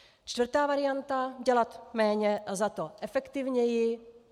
Čtvrtá varianta - dělat méně a zato efektivněji.